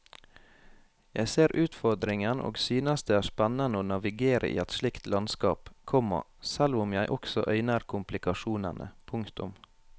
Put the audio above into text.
Jeg ser utfordringen og synes det er spennende å navigere i et slikt landskap, komma selv om jeg også øyner komplikasjonene. punktum